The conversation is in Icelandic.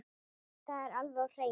Það var alveg á hreinu!